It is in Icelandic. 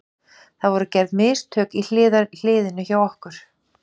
Það voru gerði mistök í hliðinu hjá okkur.